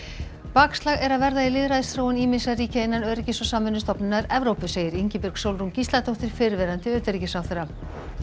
bakslag er að verða í lýðræðisþróun ýmissa ríkja innan Öryggis og samvinnustofnunar Evrópu segir Ingibjörg Sólrún Gísladóttir fyrrverandi utanríkisráðherra